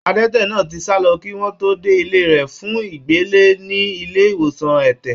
Adẹ́tẹ̀ náà ti sálọ kí wọ́n tó dé ilé rẹ̀ fún ìgbélé ní ilé ìwòsàn ẹ̀tẹ̀.